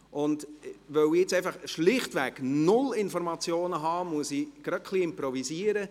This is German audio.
Weil ich nun einfach schlichtweg null Informationen habe, muss ich gerade ein wenig improvisieren.